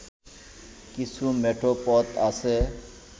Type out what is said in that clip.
কিছু মেঠো পথ আছে